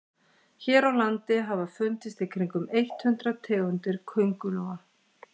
hér á landi hafa fundist í kringum eitt hundruð tegundir köngulóa